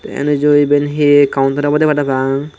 eyan eju eben hi kauntar obode parapang.